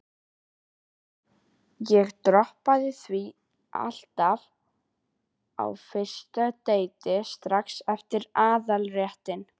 Ég droppaði því alltaf á fyrsta deiti, strax eftir aðalréttinn.